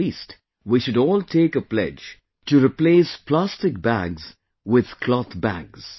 At least we all should take a pledge to replace plastic bags with cloth bags